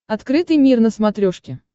открытый мир на смотрешке